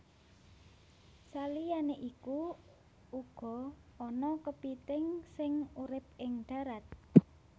Saliyané iku uga ana kepithing sing urip ing dharat